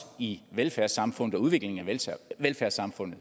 i velfærdssamfundet og udviklingen af velfærdssamfundet